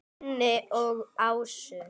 Unni og Ásu.